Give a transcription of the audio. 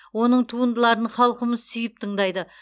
оның туындыларын халқымыз сүйіп тыңдайды